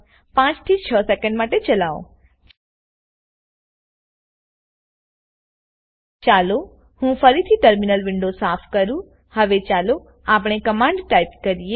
5 6 second માટે ચલાવો ચાલો હું ફરીથી ટર્મિનલ વિન્ડો સાફ કરુંહવે ચાલો અપણે કમાંડ ટાઈપ કરીએ